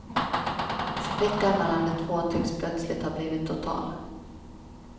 Sprickan mellan de två tycks plötsligt ha blivit total.